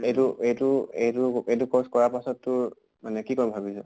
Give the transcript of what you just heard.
এইটো এইটো এইটো এইটো course কৰাৰ পাছত তোৰ মানে কি কৰিম ভাবিছʼ?